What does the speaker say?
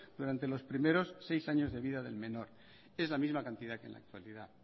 durante los primeros seis años de vida del menor es la misma cantidad que en la actualidad